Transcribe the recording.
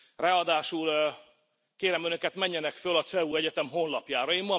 Ráadásul kérem Önöket, menjenek föl a CEU egyetem honlapjára.